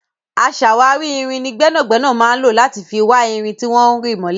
Aṣàwárí irin ni gbẹ́nàgbẹ́nà máa ń lò láti fi wá irin tí wọ́n rì mọ́lẹ̀.